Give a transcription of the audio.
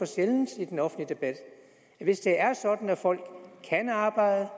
sjældent i den offentlige debat hvis det er sådan at folk kan arbejde